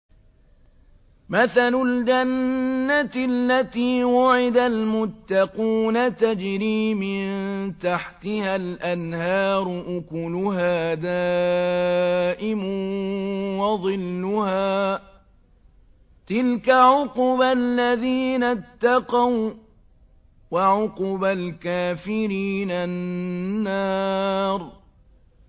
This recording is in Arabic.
۞ مَّثَلُ الْجَنَّةِ الَّتِي وُعِدَ الْمُتَّقُونَ ۖ تَجْرِي مِن تَحْتِهَا الْأَنْهَارُ ۖ أُكُلُهَا دَائِمٌ وَظِلُّهَا ۚ تِلْكَ عُقْبَى الَّذِينَ اتَّقَوا ۖ وَّعُقْبَى الْكَافِرِينَ النَّارُ